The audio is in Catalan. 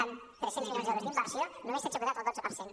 amb tres cents milions d’euros d’inversió només s’ha executat el dotze per cent